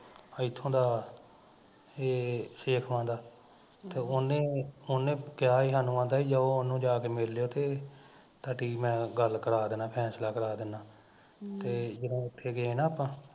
ਇੱਥੋਂ ਦਾ ਏਹ ਸੇਖਵਾਂ ਦਾ ਤੇ ਉਹਨੇ ਉਹਨੇ ਕਿਹਾ ਇਹਨਾਂ ਨੂੰ ਕਹਿੰਦਾ ਵੀ ਜਾਓ ਵੀ ਓਹਨੂੰ ਜਾਂ ਕੇ ਮਿਲ ਲੀਓ ਤੇ ਤੁਹਾਡੀ ਮੈਂ ਗੱਲ ਕਰਾ ਦਿੰਦਾ ਫੈਸਲਾ ਕਰਾ ਦਿੰਦਾ ਤੇ ਜਦੋਂ ਉੱਥੇ ਗਏ ਸੀ ਨਾ ਆਪਾਂ